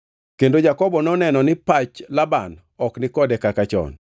Kendo Jakobo noneno ni pach Laban ok nikode kaka chon.